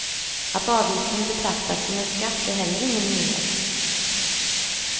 Att avgiften betraktas som en skatt är heller ingen nyhet.